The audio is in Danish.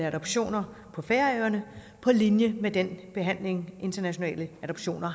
adoptioner på færøerne på linje med den behandling internationale adoptioner